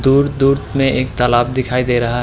दूर-दूर मे एक तालाब दिखाई दे रहा --